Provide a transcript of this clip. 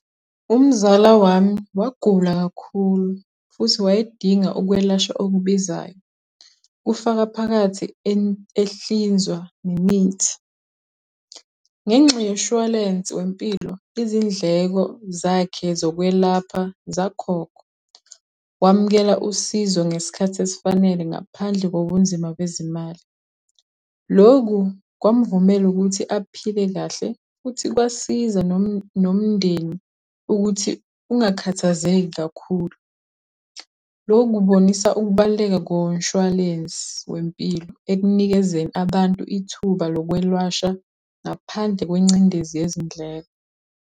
Umzala wami wagula kakhulu futhi wayedinga ukwelashwa okubizayo, kufaka phakathi ehlinzwa nemithi. Ngenxa yoshwalense wempilo izindleko zakhe zokwelapha zakhokhwa, wamukela usizo ngesikhathi esifanele ngaphandle kobunzima bezimali. Loku kwamvumela ukuthi aphile kahle futhi kwasiza nomndeni ukuthi ungakhathazeki kakhulu. Loku kubonisa ukubaluleka komshwalensi wempilo ekunikezeni abantu ithuba lokwelwasha ngaphandle kwencindezi yezindleko.